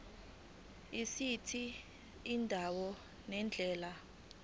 esithi indawo nendlela